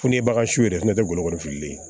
Funteni ba su yɛrɛ fana tɛ golo firigololen ye